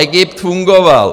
Egypt fungoval.